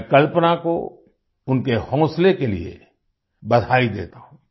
मैं कल्पना को उनके हौंसले के लिए बधाई देता हूँ